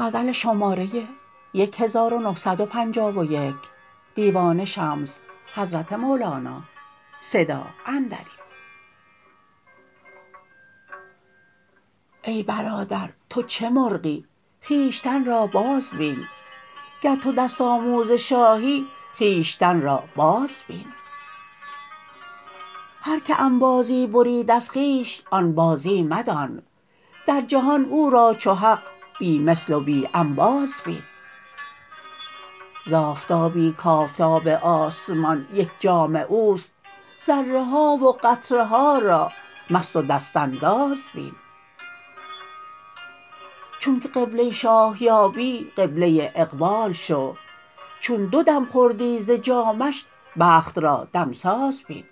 ای برادر تو چه مرغی خویشتن را بازبین گر تو دست آموز شاهی خویشتن را باز بین هر کی انبازی برید از خویش آن بازی مدان در جهان او را چو حق بی مثل و بی انباز بین ز آفتابی کآفتاب آسمان یک جام او است ذره ها و قطره ها را مست و دست انداز بین چونک قبله شاه یابی قبله اقبال شو چون دو دم خوردی ز جامش بخت را دمساز بین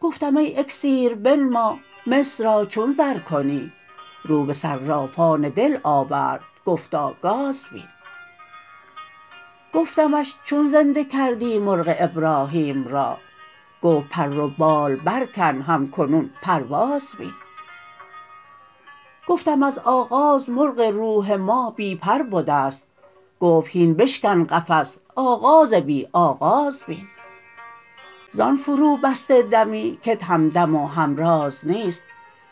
گفتم ای اکسیر بنما مس را چون زر کنی رو به صرافان دل آورد گفتا گاز بین گفتمش چون زنده کردی مرغ ابراهیم را گفت پر و بال برکن هم کنون پرواز بین گفتم از آغاز مرغ روح ما بی پر بده ست گفت هین بشکن قفس آغاز بی آغاز بین زان فروبسته دمی کت همدم و همراز نیست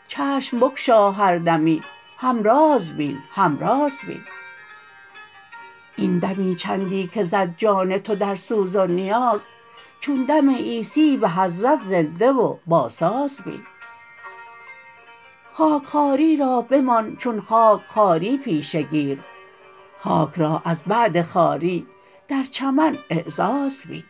چشم بگشا هر دمی همراز بین همراز بین این دمی چندی که زد جان تو در سوز و نیاز چون دم عیسی به حضرت زنده و باساز بین خاک خواری را بمان چون خاک خواری پیشه گیر خاک را از بعد خواری در چمن اعزاز بین